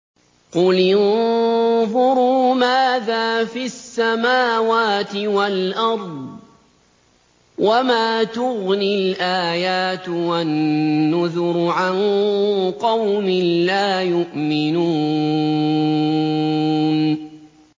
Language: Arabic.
قُلِ انظُرُوا مَاذَا فِي السَّمَاوَاتِ وَالْأَرْضِ ۚ وَمَا تُغْنِي الْآيَاتُ وَالنُّذُرُ عَن قَوْمٍ لَّا يُؤْمِنُونَ